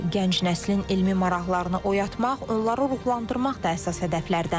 gənc nəslin elmi maraqlarını oyatmaq, onları ruhlandırmaq da əsas hədəflərdəndir.